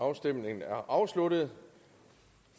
afstemningen er afsluttet